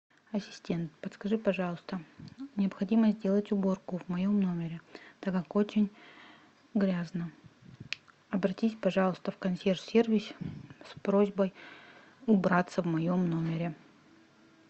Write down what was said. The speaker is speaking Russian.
ассистент подскажи пожалуйста необходимо сделать уборку в моем номере так как очень грязно обратись пожалуйста в консьерж сервис с просьбой убраться в моем номере